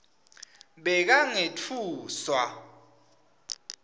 bekangetfuswa